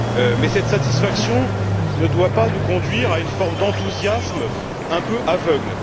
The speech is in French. Mais cette satisfaction ne doit pas nous conduire à une forme d'enthousiasme un peu aveugle.